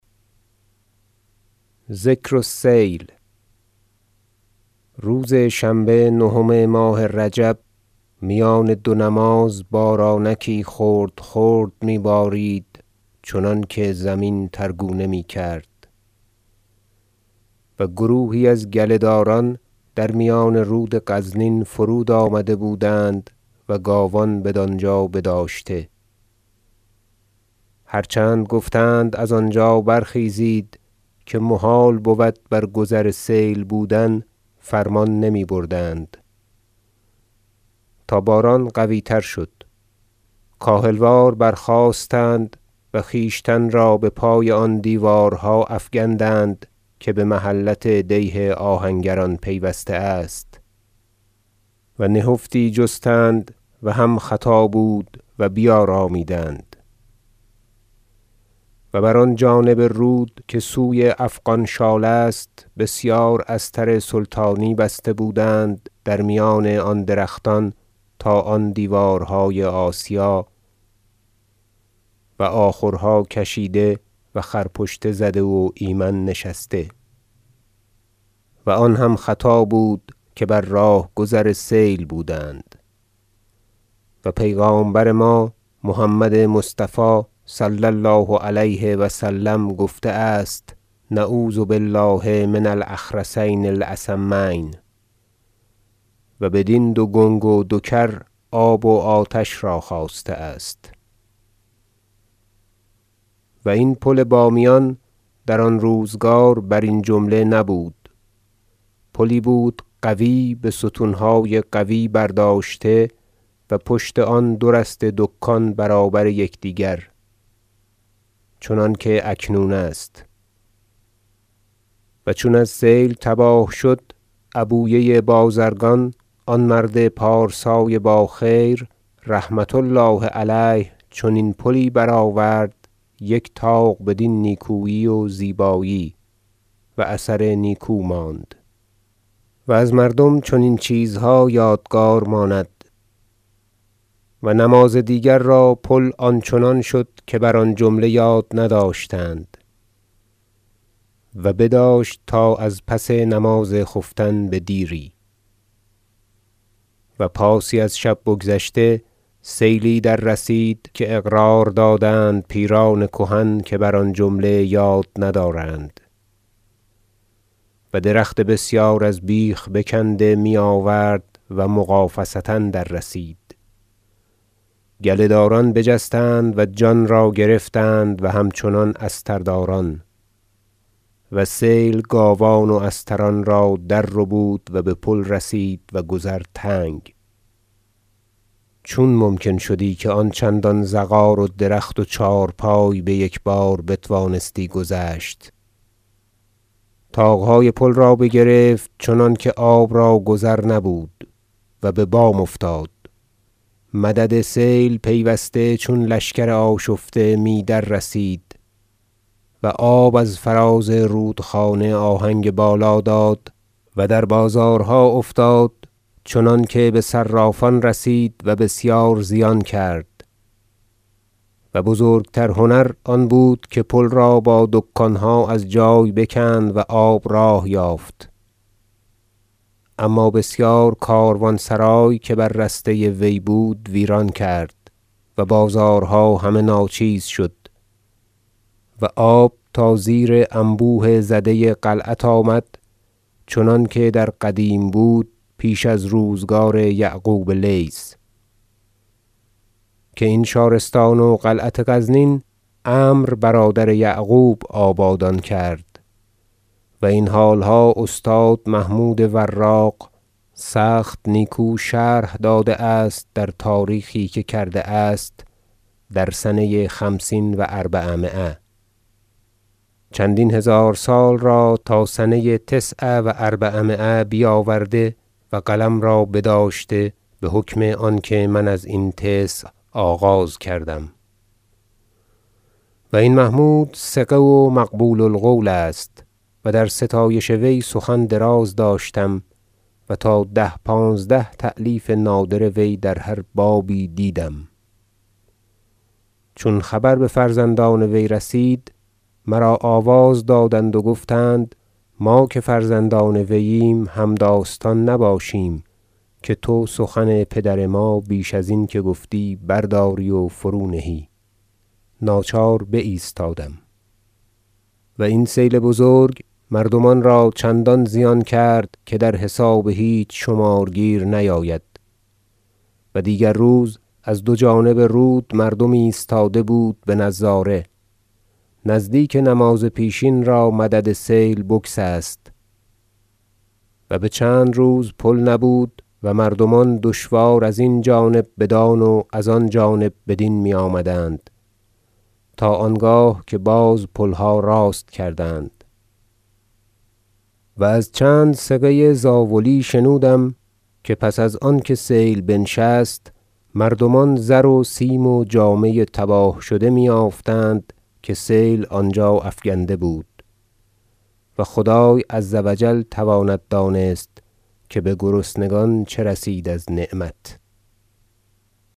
ذکر السیل روز شنبه نهم ماه رجب میان دو نماز بارانکی خرد خرد می بارید چنانکه زمین تر گونه می کرد و گروهی از گله داران در میان رود غزنین فرود آمده بودند و گاوان بدانجا بداشته هر چند گفتند از آنجا برخیزید که محال بود بر گذر سیل بودن فرمان نمی بردند تا باران قوی تر شد کاهل وار برخاستند و خویشتن را بپای آن دیوارها افکندند که به محلت دیه آهنگران پیوسته است و نهفتی جستند و هم خطا بود و بیارامیدند و بر آن جانب رود که سوی افغان شال است بسیار استر سلطانی بسته بودند در میان آن درختان تا آن دیوارهای آسیا و آخرها کشیده و خرپشته زده و ایمن نشسته و آن هم خطا بود که بر راه گذر سیل بودند و پیغامبر ما محمد مصطفی صلی الله علیه و سلم گفته است نعوذ بالله من الاخرسین الاصمین و بدین دو گنگ و دو کر آب و آتش را خواسته است و این پل بامیان در آن روزگار برین جمله نبود پلی بود قوی بستونهای قوی برداشته و پشت آن دورسته دکان برابر یکدیگر چنانکه اکنون است و چون از سیل تباه شد عبویه بازرگان آن مرد پارسای باخیر رحمة الله علیه چنین پلی برآورد یک طاق بدین نیکویی و زیبایی و اثر نیکو ماند و از مردم چنین چیزها یادگار ماند و نماز دیگر را پل آنچنان شد که بر آن جمله یاد نداشتند و بداشت تا از پس نماز خفتن بدیری و پاسی از شب بگذشته سیلی در رسید که اقرار دادند پیران کهن که بر آن جمله یاد ندارند و درخت بسیار از بیخ بکنده می آورد و مغافصه در رسید گله داران بجستند و جان را گرفتند و همچنان استرداران و سیل گاوان و استران را در ربود و به پل رسید و گذر تنگ چون ممکن شدی که آن چندان زغار و درخت و چهارپای بیک بار بتوانستی گذشت طاقهای پل را بگرفت چنانکه آب را گذر نبود و ببام افتاد مدد سیل پیوسته چون لشکر آشفته می دررسید و آب از فراز رودخانه آهنگ بالا داد و در بازارها افتاد چنانکه بصرافان رسید و بسیار زیان کرد و بزرگتر هنر آن بود که پل را با دکانها از جای بکند و آب راه یافت اما بسیار کاروانسرای که بر رسته وی بود ویران کرد و بازارها همه ناچیز شد و آب تا زیر انبوه زده قلعت آمد چنانکه در قدیم بود پیش از روزگار یعقوب لیث که این شارستان و قلعت غزنین عمرو برادر یعقوب آبادان کرد و این حالها استاد محمود وراق سخت نیکو شرح داده است در تاریخی که کرده است در سنه خمسین و اربعمایه چندین هزار سال را تا سنه تسع و اربعمایه بیاورده و قلم را بداشته بحکم آنکه من ازین تسع آغاز کردم و این محمود ثقه و مقبول القول است و در ستایش وی سخن دراز داشتم و تا ده پانزده تألیف نادر وی در هر بابی دیدم چون خبر بفرزندان وی رسید مرا آواز دادند و گفتند ما که فرزندان وییم همداستان نباشیم که تو سخن پدر ما بیش ازین که گفتی برداری و فرونهی ناچار بایستادم و این سیل بزرگ مردمان را چندان زیان کرد که در حساب هیچ شمارگیر نیاید و دیگر روز از دو جانب رود مردم ایستاده بود بنظاره نزدیک نماز پیشین را مدد سیل بگسست و بچند روز پل نبود و مردمان دشوار از این جانب بدان و از ان جانب بدین می آمدند تا آنگاه که باز پلها راست کردند و از چند ثقه زاولی شنودم که پس از آنکه سیل بنشست مردمان زر و سیم و جامه تباه شده می یافتند که سیل آنجا افکنده بود و خدای عز و جل تواند دانست که بگرسنگان چه رسید از نعمت